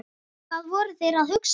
Hvað voru þeir að hugsa?